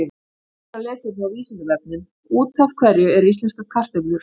Frekara lesefni á Vísindavefnum: Út af hverju eru íslenskar kartöflur rauðar?